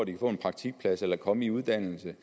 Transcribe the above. kan få en praktikplads eller komme i uddannelse